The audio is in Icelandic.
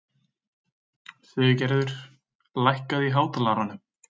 Siggerður, lækkaðu í hátalaranum.